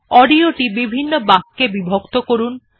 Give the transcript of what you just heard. audio টি বিভিন্ন বাক্যে বিভক্ত করুন